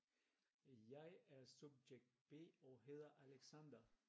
Jeg er subjekt B og hedder Alexander